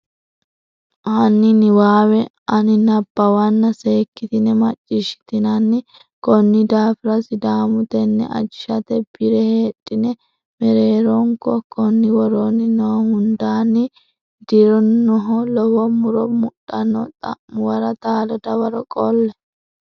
hanni niwaawe ani nabbawanna seekkitine macciishshitinanni Konni daafira Sidaamu tenne ajishate bi re heedhine mereeronko konni woroonni noo hundanni dii rinohu lowo muro mudhanno xa muwara taalo dawaro qolle.